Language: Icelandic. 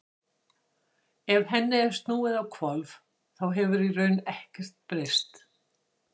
ef henni er snúið á hvolf þá hefur í raun heldur ekkert breyst